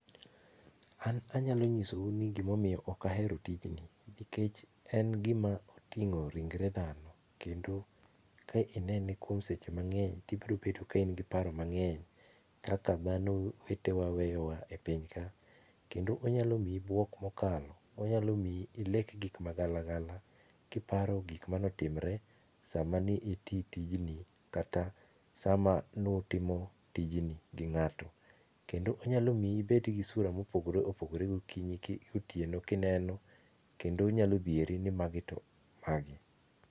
An anyalo nyisou ni gima omiyo ok ahero tijni, nikech en gima oting'o ringre dhano kendo ka inene kuom seche mang'eny to ibiro bedo ka in kod paro mang'eny kaka dhano wetewa weyowa e piny ka .Kendo onyalo miyi buok mokalo, onyalo miyi ilek gik magalagala kiparo gik mane otimre ,sama ne iti tijni kata sama ne utimo tijni gi ng'ato. Kendo onyalo miyi ibed gi sura mopogoreopogore gokinyi gotieno kineno, kendo onyalo dhieri ni magi to mage.